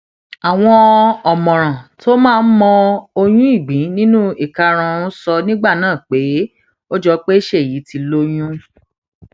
àwọn ọmọràn tó máa ń mọ oyún ìgbín nínú ìkarahun sọ nígbà náà pé ó jọ pé ṣéyí ti lóyún